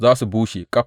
Za su bushe ƙaf.